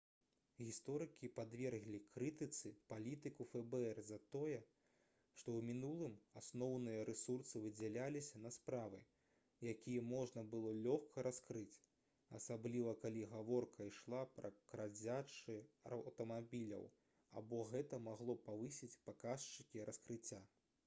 гісторыкі падверглі крытыцы палітыку фбр за тое што ў мінулым асноўныя рэсурсы выдзяляліся на справы якія можна было лёгка раскрыць асабліва калі гаворка ішла пра крадзяжы аўтамабіляў бо гэта магло павысіць паказчыкі раскрыцця